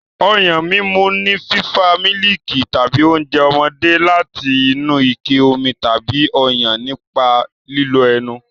Ọyàn mímu ni fífa mílìkì tàbí oúnjẹ ọmọdé láti inú ike omi tàbí Ọyàn nípa lílo ẹnu.